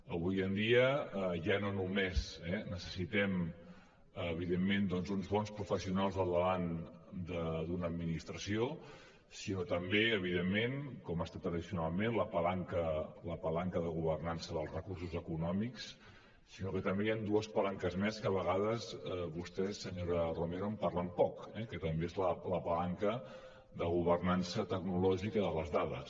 avui en dia ja no només necessitem evidentment doncs un bons professionals al davant d’una administració sinó també evidentment com ha estat tradicionalment la palanca la palanca de governança dels recursos econòmics sinó que també hi han dues palanques més que a vegades vostè senyora romero en parlen poc eh que també és la palanca de governança tecnològica de les dades